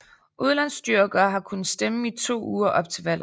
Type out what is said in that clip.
Udlandstyrkere har kunnet stemme i to uger op til valget